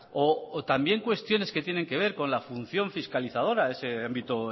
o también cuestiones que tienen que ver con la función fiscalizadora de ese ámbito